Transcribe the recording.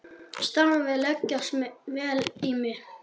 Starfið leggst vel í mig.